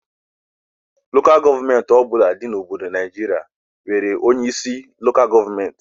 Lokal gọọmenti ọbụla dị na Obodo Naịjiria nwere onye isi Lokal gọọmenti